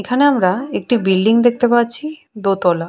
এখানে আমরা একটি বিল্ডিং দেখতে পাচ্ছি দোতলা।